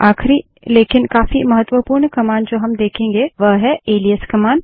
आखिरी लेकिन काफी महत्वपूर्ण कमांड जो हम देखेंगे वह है एलाइस कमांड